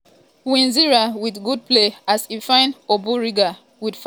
kwizera wit good play as e find omborenga we fire straight but dem block am.